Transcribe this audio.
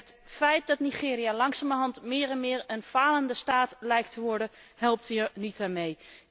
Het feit dat Nigeria langzamerhand meer en meer een falende staat lijkt te worden, helpt hier niet aan mee.